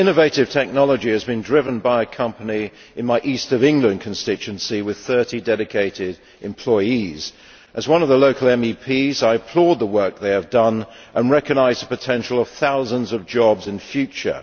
This innovative technology has been driven by a company in my East of England constituency with 30 dedicated employees. As one of the local MEPs, I applaud the work they have done and recognise the potential for thousands of jobs in the future.